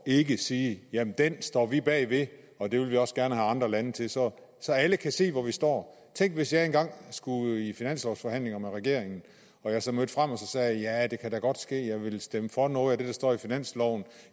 ikke sige den står vi bag og det vil vi også gerne have andre lande til så så alle kan se hvor vi står tænk hvis jeg engang skulle i finanslovforhandlinger med regeringen og jeg så mødte frem og sagde ja det kan da godt ske at jeg vil stemme for noget af det der står i finansloven